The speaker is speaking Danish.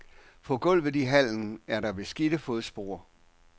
På gulvet i hallen er der beskidte fodspor.